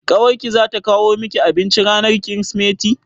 Ƙawar ki za ta kawo miki abinci ranar Kirsimeti?